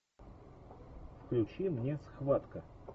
включи мне схватка